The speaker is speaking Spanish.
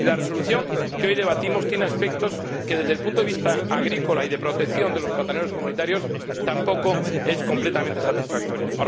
Y la resolución que hoy debatimos tiene aspectos que, desde el punto de vista agrícola y de protección de los plataneros comunitarios, tampoco son completamente satisfactorios.